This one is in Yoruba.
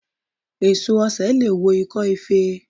Èso osè leè wo ikó ife